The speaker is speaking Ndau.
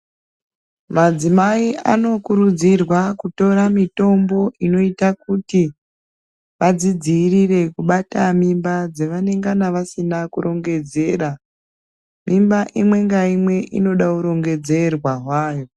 Madzimai anokurudzirwa kutora mitombo inoita kuti vadzidzirire kubata mimba dzavanenga vasina kurongedzera mimba imwe naimwe inoda hurongedzerwa hwayo